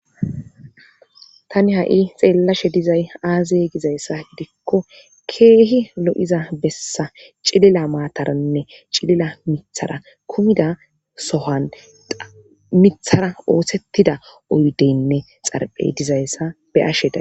Tani ha7i xeellashe dizay aaze gizayssa giddikko keehi lo7iza bessan cilila maataranne cilila mithara kumida bessan sohani mithara oosettida oydeynne xarphey diza be7ashe day